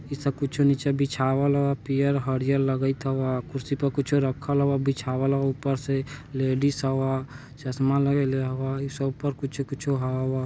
ई सब कुछो निचे बीछावल ह पियर हरियर लगित हावा कुर्सी पर कुछो रखल हावा बीछवाल हावा उपर से लेडिज हावा चश्मा लगैले हावा इसे ऊपर कुछो-कुछो हावा।